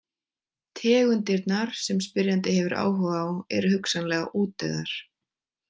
Tegundirnar sem spyrjandi hefur áhuga á eru hugsanlega útdauðar.